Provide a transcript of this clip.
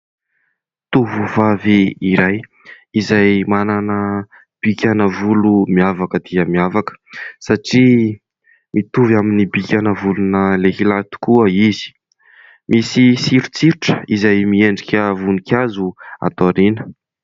Tovovavy iray izay manana bikana volo miavaka dia miavaka satria mitovy amin'ny bikana volona lehilahy tokoa izy, misy sirotsirotra izay miendrika voninkazo ato aoriana.